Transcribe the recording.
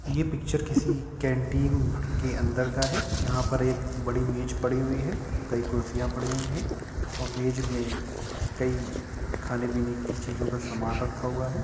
ये पिक्चर किसी कैंटीन के अंदर का है। यहाँ पर एक बड़ी मेज पड़ी हुई है। कई कुर्सिया पड़ी हुई है और मेज में कई खाने पीने के सामान रखा हुआ है।